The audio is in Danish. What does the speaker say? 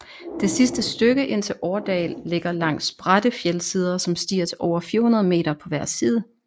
Det sidste stykke ind til Årdal ligger langs bratte fjeldsider som stiger til over 400 meter på hver side